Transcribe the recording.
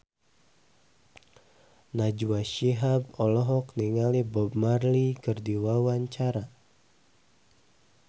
Najwa Shihab olohok ningali Bob Marley keur diwawancara